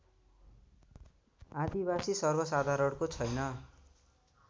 आदिवासी सर्वसाधारणको छैन